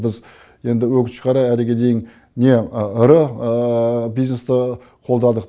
біз енді өңінішке қарай әріге дейін не ірі бизнесті қолдадық